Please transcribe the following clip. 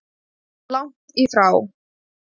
Langt í frá.